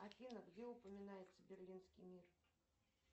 афина где упоминается берлинский мир